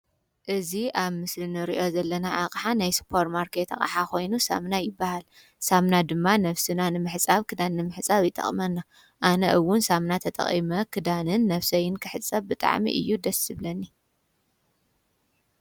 እዚ አብ ምስሊ እንሪኦ ዘለና አቅሓ ናይ ሱፐር ማርኬት አቅሓ ኮይኑ ሳሙና ይበሃል። ሳሙና ድማ ነብስና ንምሕፃብ ክዳን ንምሕፃብ ይጠቅመና። አነ እውን ሳሙና ተጠቂመ ክዳንን ነብሰይን ክሕፀብ ብጣዕሚ እዩ ደስ ዝብለኒ።